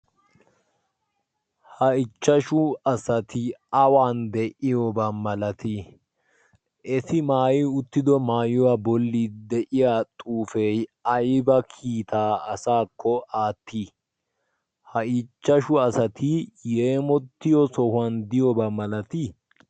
ha ichchashu asati awan de'iyoobaa malatii eti maayi uttido maayuwaa bolli de'iya xuufee ayba kiitaa asaakko aattii ha ichchashu asati yeemottiyo sohuwan diyoobaa malatii?